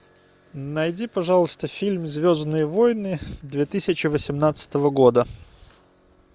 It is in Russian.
найди пожалуйста фильм звездные войны две тысячи восемнадцатого года